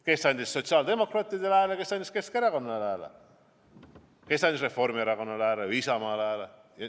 Kes andis sotsiaaldemokraatidele hääle, kes andis Keskerakonnale, kes andis Reformierakonnale või Isamaale hääle.